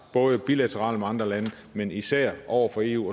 både bilateralt med andre lande men især over for eu